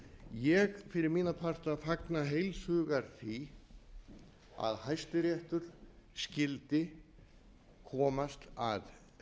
ég fyrir mína parta fagna heilshugar því að hæstiréttur skyldi komast að